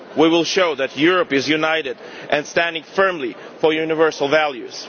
Russia. We will show that Europe is united and standing firmly for universal